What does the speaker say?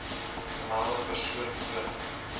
gemelde persoon voort